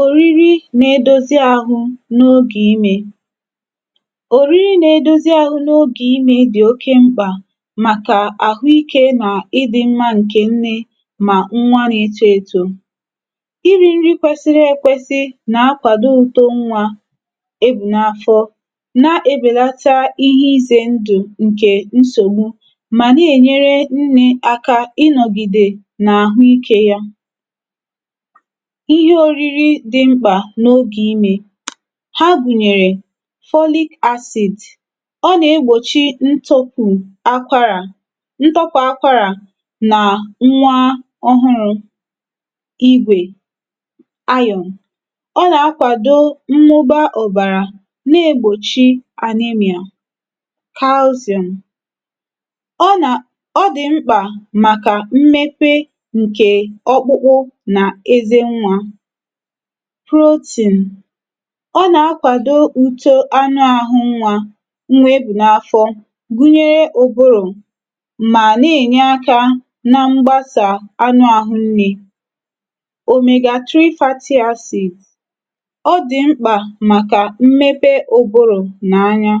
òriri na edozi ahụ n’ogè imē. òriri na edozi ahụ n’ogè imē dị̀ ezigbo mkpà, màkà àhụ ikē ǹkè ịdị̄ mma ǹkẹ̀ nnẹ nà nwa na eto eto. irī nri kwẹsịrị ekwesị nà akwàdo uto nwā ebù na afọ, na ebèlata ihe izē ndụ̀ ǹkè nsògbu, nà ènyere nnē aka màkà ịnọ̀gìdè nà àhụ ikē ya. ịhẹ oriri dị mkpà n’ogè imē, ha gùnyèrè, folic acid, ọ nà egbòchi ntọpụ akwara nà nwa ọhụrụ. igwè iron, ọ nà akwàdo mmuba ọ̀bàrà, na egbòchi anemia. calcium, ọ nà ọ dị̀ mkpà màkà mmepe ǹkè ọkpụkpụ nà eze nwā. protein, ọ nà akwàdo nto anụ ahụ nwā, nwa e bù n’afọ, hunyere ụbụrụ̀, mà nà ènye akā na mgbasà anụ àhụ nnē. omega 3 fatty acid. ọ dị̀ mkpà màkà mmepe uburù nà anya.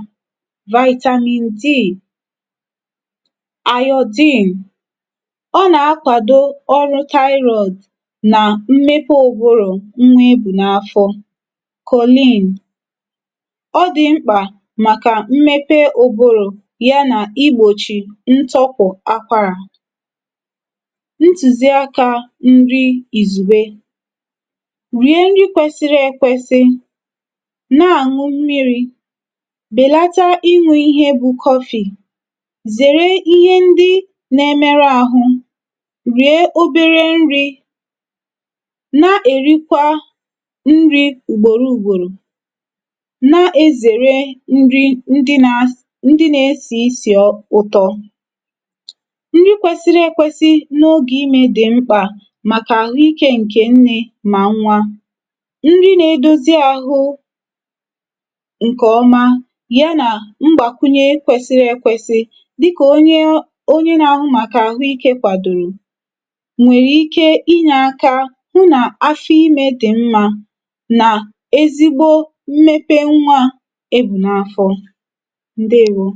vitamin D, iodine, ọ nà akwàdo ọrụ thyroid nà mmepe ụ̀bụrụ̀ nwa ị bù n’afọ. colin, ọ dị̀ mkpà màkà mmepe ùburù, ya nà igbòchì ntọpụ̀ akwarà. ntùziakā nri ìzùgbe. rie nri kwẹsịrị ẹkwẹsị, nà ànwụ mmirī, bèlata iñū ịhẹ bu coffee. zère ihe ndị na ẹmẹrụ ahụ, rìe obere nrī, na èrikwa nrī ùgbòro ùgbòrò. na ezère nrī ndị nā ndị na esì isì ụtọ. nri kwesiri ẹkwẹsị n’ogè imē dị̀ mkpà, màkà àhụ ikē nne mà nwa. nri na edozi ahụ ǹkẹ̀ ọma, y anà mgbàkwunyẹ kwẹsịrị ẹkwẹsị, dịka onye, onye na ahụ màkà àhụ ikē kwadòro, nwèrè ike inyē aka hụ nã̀ afọ imẹ̄̀ dị̀ mmā, nà ezigbo mmepe nwā e bù n’afọ. ǹdeèwo.